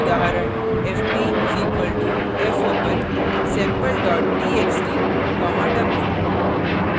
उदाहरण fp = fopen sample txt w;